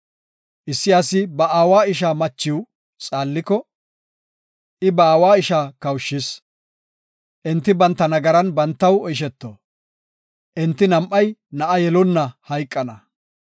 Issi asi ba aawa ishaa machiw xaalliko, I ba aawa ishaa kawushis. Enti banta nagaran bantaw oysheto; enti nam7ay na7a yelonna hayqana.